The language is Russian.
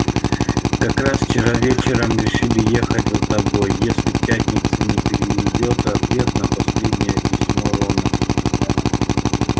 как раз вчера вечером решили ехать за тобой если к пятнице не придёт ответ на последнее письмо рона